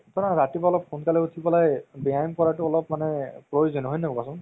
চোৱা না ৰাতিপুৱা অলপ সোনকালে উথিব লাগে ব্যায়াম কৰাতো অলপমানে প্ৰয়োজন হয় নে নহয় কোৱাচোন